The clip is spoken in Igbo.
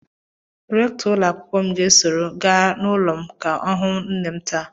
Rèktọ́ ụlọakwụkwọ m ga-esoro m gaa n'ụlọ m ka ọ hụ nne m taa